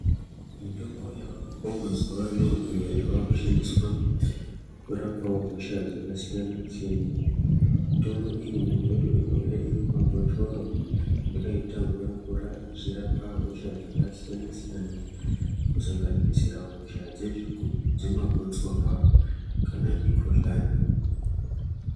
Mitombo yavako mazuvano iyo yavakushandiswa kurapa hosha dzakasiyana-siyana. Mitombo iyi mimwe yacho inouya iri mumabhotoro yakaita mvura-mvura ichirapa hosha dzakasiyana-siyana, kusanganisira hosha dzemagotsorwa kana mikuhlani.